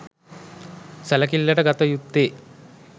සැලකිල්ලට ගත යුත්තේ